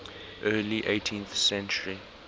early eighteenth century